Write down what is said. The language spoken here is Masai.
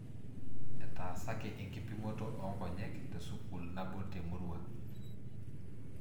Etaasaki enkipimoto oo nkonyek te sukuul nabo te Murua.